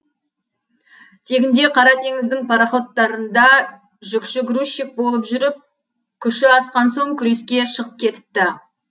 тегінде қара теңіздің пароходтарында жүкші грузчик болып жүріп күші асқан соң күреске шығып кетіпті